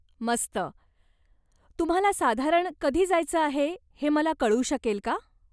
मस्त. तुम्हाला साधारण कधी जायचं आहे हे मला कळू शकेल का?